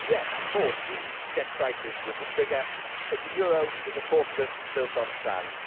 Yes, of course the debt crisis was the trigger, but the euro was a fortress built on sand.